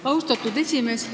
Austatud esimees!